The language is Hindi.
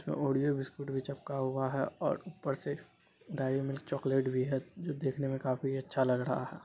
यह ओरियो बिस्कुट भी चपका हुआ है और ऊपर से डेयरी मिल्क चॉकलेट भी है जो देखने में काफी अच्छा लग रहा है।